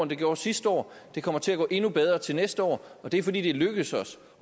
det gjorde sidste år det kommer til at gå endnu bedre til næste år og det er fordi det er lykkedes os